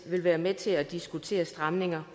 være med til at diskutere stramninger